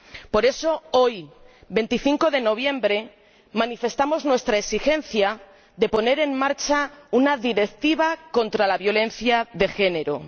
Por eso, hoy, 25 de noviembre, manifestamos nuestra exigencia de poner en marcha una directiva contra la violencia de género.